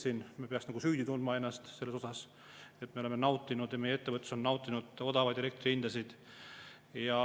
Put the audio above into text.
Me peaksime ennast nagu süüdi tundma selle pärast, et me oleme nautinud ja meie ettevõtlus on nautinud odavaid elektrihindasid.